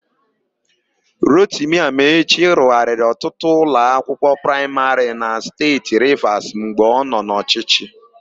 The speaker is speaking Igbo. Rotimi Amaechi rụgharịrị ọtụtụ ụlọakwụkwọ praịmarị na Steeti Rivas mgbe ọ nọ n'ọchịchị.